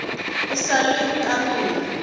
e sa le ka pela